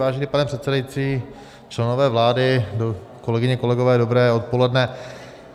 Vážený pane předsedající, členové vlády, kolegyně, kolegové, dobré odpoledne.